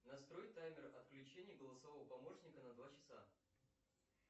настрой таймер отключения голосового помощника на два часа